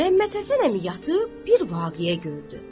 Məhəmməd Həsən əmi yatıb bir vaqeə gördü.